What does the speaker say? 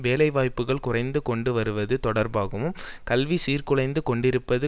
வேலைவாய்ப்புக்கள் குறைந்து கொண்டு வருவது தொடர்பாகவும் கல்வி சீர்குலைந்து கொண்டிருப்பது